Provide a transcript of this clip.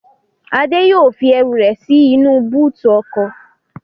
Adé yóò fi ẹrù rẹ̀ sí inú bóòtù ọkọ̀